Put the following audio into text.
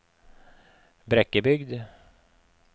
Brekkebygd